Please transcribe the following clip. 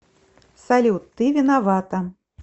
салют ты виновата